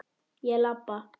Ég labba.